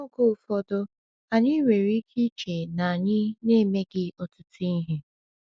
Oge ụfọdụ, anyị nwere ike iche na anyị na-emeghị ọtụtụ ihe.